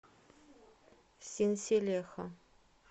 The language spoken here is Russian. синселехо